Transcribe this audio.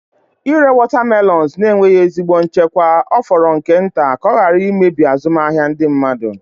Ịre watermelons na-enweghị ezigbo nchekwa ọ fọrọ nke nta ka ọ ghara imebi azụmahịa ndị mmadụ.